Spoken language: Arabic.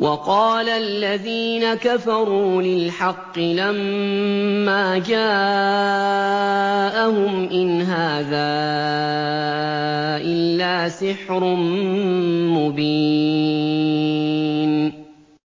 وَقَالَ الَّذِينَ كَفَرُوا لِلْحَقِّ لَمَّا جَاءَهُمْ إِنْ هَٰذَا إِلَّا سِحْرٌ مُّبِينٌ